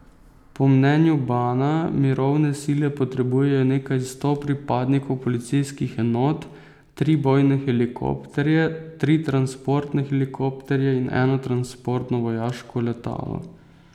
Po mnenju Bana mirovne sile potrebujejo nekaj sto pripadnikov policijskih enot, tri bojne helikopterje, tri transportne helikopterje in eno transportno vojaško letalo.